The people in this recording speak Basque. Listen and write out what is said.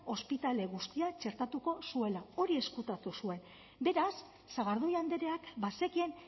ospitale guztia txertatu zuela hori ezkutatu zuen beraz sagardui andreak bazekien